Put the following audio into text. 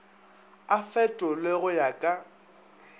a fetolwe go ya ka